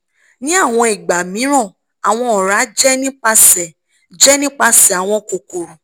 ni awọn igba miiran awọn ọra jẹ nipasẹ jẹ nipasẹ awọn kokoro